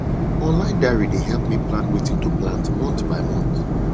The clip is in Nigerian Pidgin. online diary dey help me plan wetin to plant month by month